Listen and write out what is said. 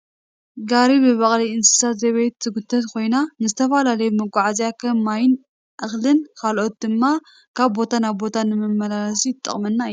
ጋሪ ብበቅሊ እንስሳ ዘቤት ትጉተት ኮይና ንዝተፈላለዩ መጓዓዕዝያ ከም ማይን እክልን ካልኦትን ድማ ካብ ቦታ ናብ ቦታ ንመመላለሲ ትጠቅመና እያ።